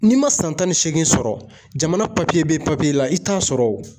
N'i ma san tan ni seegin sɔrɔ jamana papiye be papiye la i t'a sɔrɔ wo